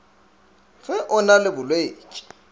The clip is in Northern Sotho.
ge o na le bolwetši